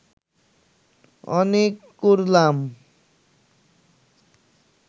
অনেক করলাম